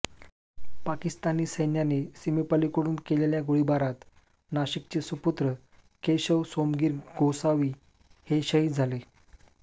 पाकिस्तानी सैन्याने सीमेपलीकडून केलेल्या गोळीबारात नाशिकचे सुपुत्र केशव सोमगीर गोसावी हे शहीद झाले